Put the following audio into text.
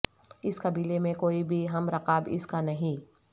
اس قبیلے میں کوئی بھی ہم رکاب اس کا نہیں